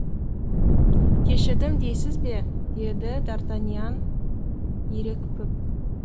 кешірдім дейсіз бе деді дартаньян ерекпіп